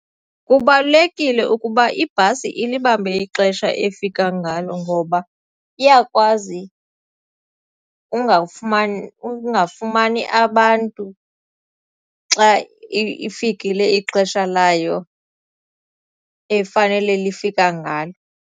Kubalulekile ukuba ibhasi ilibambe ixesha efika ngalo ngoba iyakwazi ukungafumani abantu xa ifikile ixesha layo efanele lifika ngalo.